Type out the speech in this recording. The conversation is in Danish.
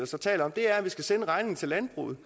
så taler om er at vi skal sende regningen til landbruget